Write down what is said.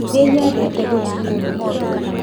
Nĩnyendete gũthiĩ kũndũ kwerũ